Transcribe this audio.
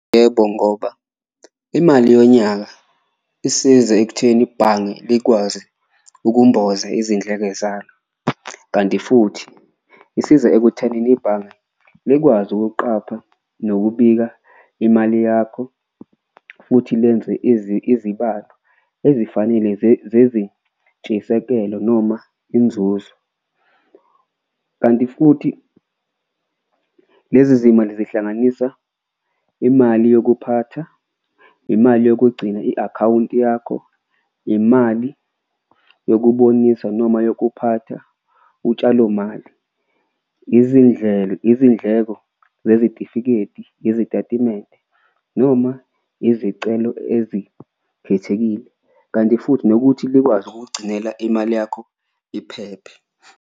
Yebo ngoba imali yonyaka isiza ekutheni ibhange likwazi ukumboza izindleke zalo, kanti futhi isiza ekuthenini ibhange likwazi ukuqapha nokubika imali yakho futhi lenze izibalo ezifanele zezintshisekelo noma inzuzo. Kanti futhi lezi zimali zihlanganisa imali yokuphatha, imali yokugcina i-akhawunti yakho, imali yokubonisa noma yokuphatha utshalomali, izindlela izindleko zezitifiketi nezitatimende noma izicelo ezikhethekile. Kanti futhi nokuthi likwazi ukugcinela imali yakho iphephe.